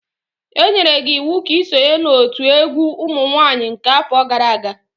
Enyere gi iwu ka i sonye n'otu egwu umunwaanyị nke afo gara aga!